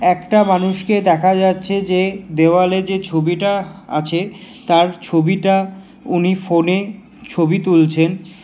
একটা মানুষকে দেখা যাচ্ছে যে দেওয়ালে যে ছবিটা আছে তার ছবিটা উনি ফোনে ছবি তুলছেন।